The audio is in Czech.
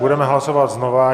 Budeme hlasovat znovu.